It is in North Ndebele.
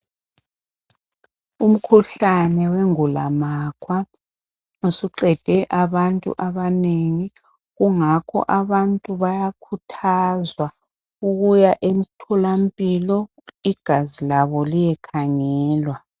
Umkhuhlane wengulamakhwa usuqede abantu abanengi kungakho abantu bayakhuthazwa ukuya emtholampilo igazi labo liyekhangelwa